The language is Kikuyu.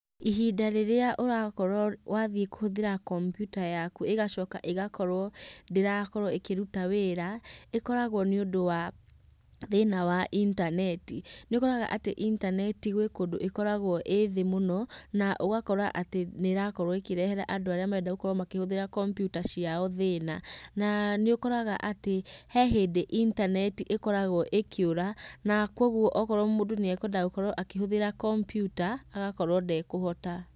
Ihinda rĩrĩa ũrakorwo wathiĩ kũhũthĩra kompiuta yaku ĩgacoka ĩgakorwo ndĩrakorwo ĩkĩruta wĩra, ĩkoragwo nĩ ũndũ wa thĩna wa intaneti. Nĩ ũkoraga atĩ intaneti gwĩ kũndũ ĩkoragwo ĩĩ thĩ mũno, na ũgakora nĩ ĩrakorwo ĩkĩrehera andũ arĩa marenda gũkorwo makĩhũthĩra kompiuta ciao thĩna. Na nĩ ũkoraga atĩ he hĩndĩ intaneti ĩkoragwo ĩkĩũra na kũguo okorwo mũndũ nĩ ekwendaga gũkorwo akĩhũthĩra kompiuta agakorwo ndekũhota.